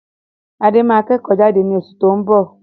Adé máa kẹ́kò jade ni osù to n bọ̀